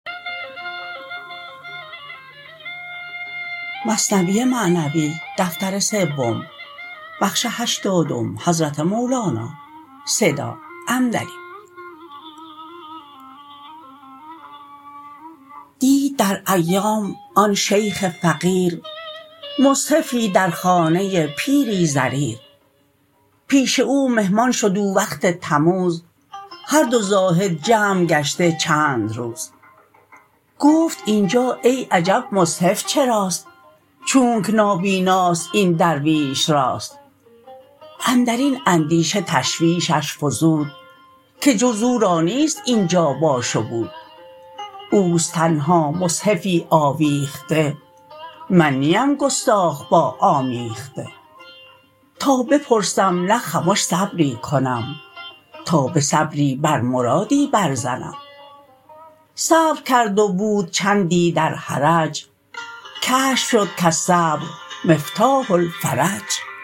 دید در ایام آن شیخ فقیر مصحفی در خانه پیری ضریر پیش او مهمان شد او وقت تموز هر دو زاهد جمع گشته چند روز گفت اینجا ای عجب مصحف چراست چونک نابیناست این درویش راست اندرین اندیشه تشویشش فزود که جز او را نیست اینجا باش و بود اوست تنها مصحفی آویخته من نیم گستاخ یا آمیخته تا بپرسم نه خمش صبری کنم تا به صبری بر مرادی بر زنم صبر کرد و بود چندی در حرج کشف شد کالصبر مفتاح الفرج